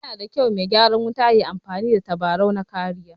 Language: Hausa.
Yana da kyau me gyaran wuta yayi amfani da tabarau na kariya